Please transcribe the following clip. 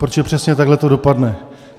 Protože přesně takhle to dopadne.